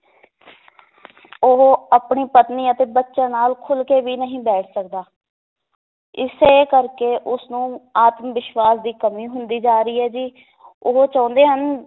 ਉਹ ਆਪਣੀ ਪਤਨੀ ਅਤੇ ਬੱਚਿਆਂ ਨਾਲ ਖੁੱਲ ਕੇ ਵੀ ਨਹੀ ਬੈਠ ਸਕਦਾ ਇਸੇ ਕਰਕੇ ਉਸਨੂੰ ਆਤਮਵਿਸ਼ਵਾਸ ਦੀ ਕਮੀ ਹੁੰਦੀ ਜਾ ਰਹੀ ਹੈ ਜੀ ਉਹ ਚਾਹੁੰਦੇ ਹਨ